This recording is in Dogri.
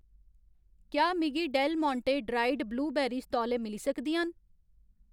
क्या मिगी डेल मोंटें ड्राइड ब्लूबेरीस तौले मिली सकदियां न ?